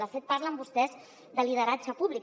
de fet parlen vostès de lideratge públic